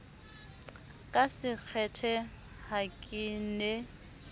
ka sekgethe ha ke ne